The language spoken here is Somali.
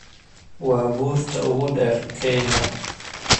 waa buurta ugu dheer kenya